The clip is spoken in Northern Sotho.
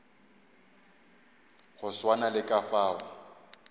go swana le ka fao